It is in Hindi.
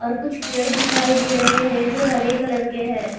और कुछ पेड़ दिखाई दे रहे है जो हरे कलर के है।